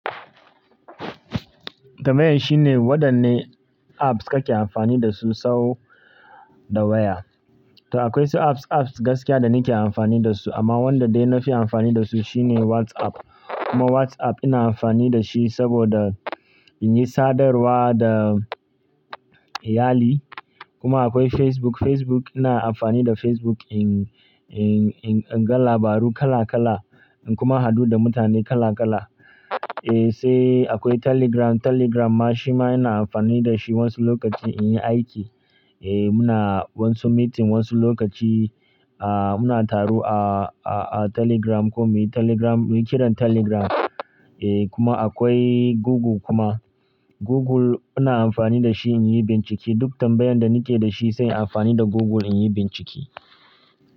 Tambayan shine wadanne apps kake amfani dasu sau da waya? To akwai su apps, apps gaskiya da nake amfani dasu amma wanda dai nafi amfani dasu shine WhatsApp. Kuma WhatsApp ina amfani da shi saboda in yi sadarwa da iyali. Kuma akwai Facebook, Facebook ina amfani da Facebook in, in, in, in ga labaru kala kala in kuma hadu da mutane kala kala. Eh, sai akwai Telegram, Telegram ma shima ina amfani dashi wasu lokaci inyi aiki. Eh, muna wasu meeting wasu lokaci, ah, muna taro a, a, a Telegram ko muyi Telegram, muyi kiran Telegram. Eh, kuma akwai Google kuma. Google ina amfani da shi in yi bincike. Duk tambayan da nake dashi sai inyi amfani da Google inyi bincike.